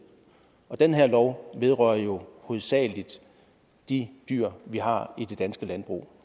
den her lov vedrører jo hovedsagelig de dyr vi har i det danske landbrug